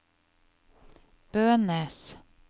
Bønes